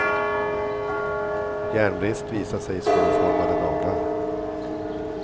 Järnbrist visar sig i skålformade naglar.